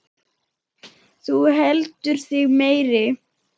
Þú heldur þig meiri.